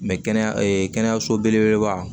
kɛnɛyaso belebeleba